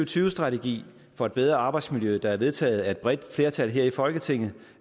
tyve strategi for et bedre arbejdsmiljø der er vedtaget af et bredt flertal her i folketinget